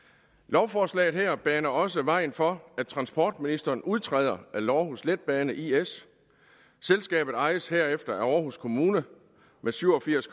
lovforslaget her baner også vejen for at transportministeren udtræder af aarhus letbane is selskabet ejes herefter af aarhus kommune med syv og firs